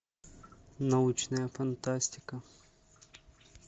научная фантастика